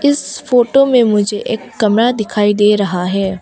इस फोटो में मुझे एक कमरा दिखाई दे रहा है।